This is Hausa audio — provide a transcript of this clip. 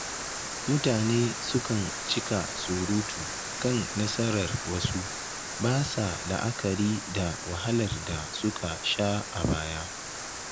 Mutane sukan cika surutu kan nasarar wasu, ba sa la'akari da wahalar da suka sha a baya.